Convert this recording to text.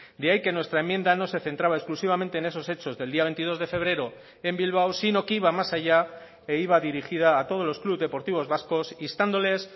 de ahí que nuestra enmienda no se centraba exclusivamente en esos hechos del día veintidós de febrero en bilbao sino que iba más allá e iba dirigida a todos los club deportivos vascos instándoles